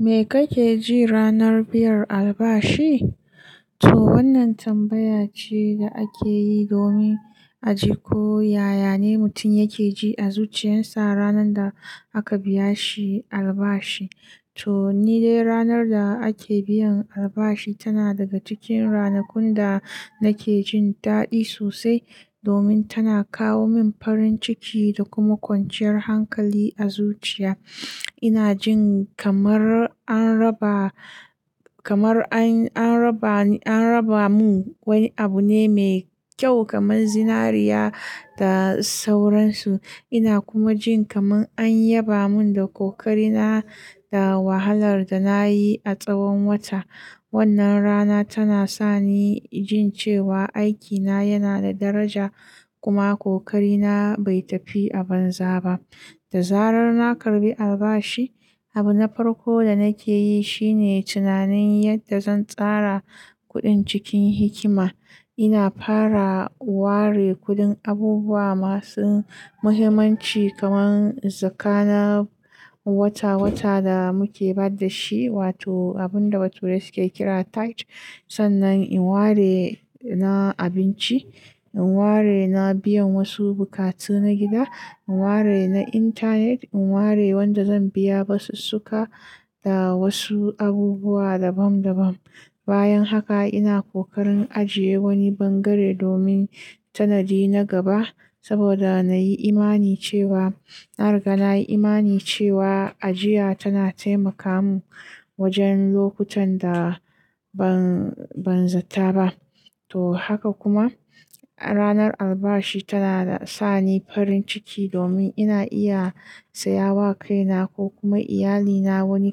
Me kake ji ranar biyar albashi? To wannan tambaya ce da ake yi domin a ji ko yaya ne mutum yake ji a zuciyarsa ranar da aka biya shi albashi. To ni dai ranar da ake biyan albashi tana daga cikin ranakun da nake jin daɗi sosai domin tana kawo min farin ciki da kuma kwanciyar hankali a zuciya. Ina jin kamar an raba, kamar an, an raba ni, an raba mun wani abu ne mai kyau kamar zinariya da sauransu. Ina kuma jin kamar an yaba mun da kokarina da wahalar da nayi a tsawon wata. Wannan rana tana sani jin cewa aikina yana da daraja kuma kokarina bai tafi a banza ba. Da zarar na karbi albashi, abu na farko da nake yi shine tunanin yadda zan tsara kuɗin cikin hikima. Ina fara ware kuɗin abubuwa masu muhimmanci kamar zakana wata wata da muke bayar da shi wato abun da bature suke kira tithe. Sannan in ware na abinci, in ware na biyan wasu buƙatu na gida, in ware na intanet, in ware wanda zan biya basasuka da wasu abubuwa dabam dabam. Bayan haka ina kokarin ajiye wani bangare domin tanadi na gaba saboda na yi imani cewa, na riga na yi imani cewa ajiya tana taimaka mu wajen lokutan da ban, ban zata ba. To haka kuma ranar albashi tana sa ni farin ciki domin ina iya saya wa kaina ko kuma iyalina wani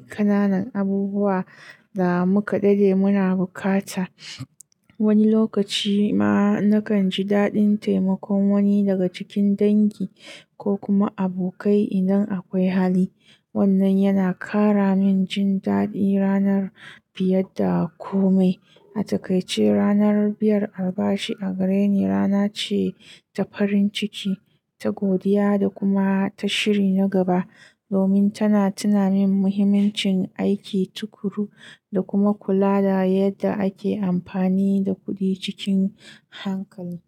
ƙananan abubuwa da muka dade muna bukata. Wani lokaci ma nakan ji daɗin taimakon wani daga cikin dangi ko kuma abokai idan akwai hali. Wannan yana ƙara min jin daɗi ranar fiye da kumai. A takaice ranar biyar albashi a gare ni rana ce ta farin ciki, ta godiya da kuma ta shiri na gaba domin tana tuna min muhimmancin aiki tukuru da kuma kula da yadda ake amfani da kuɗi cikin hankali.